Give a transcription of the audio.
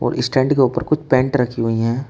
और इस स्टैंड के ऊपर कुछ पैंट रखी हुई है।